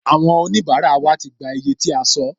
Àwọn onibara wa ti gbà iye tí a sọ